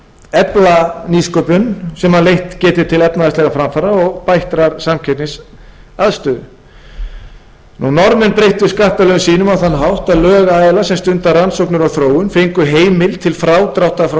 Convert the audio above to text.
efla nýsköpun sem leitt geti til efnahagslegra framfara og bættrar samkeppnisaðstöðu norðmenn breyttu skattalögum sínum á þann hátt að lögaðilar sem stunda rannsóknir og þróun fengu heimild til frádráttar frá